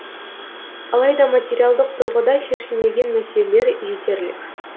алайда материалдық тұрғыда шешілмеген мәселелер жетерлік